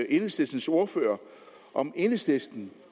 enhedslistens ordfører om enhedslisten